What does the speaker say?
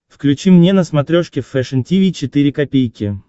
включи мне на смотрешке фэшн ти ви четыре ка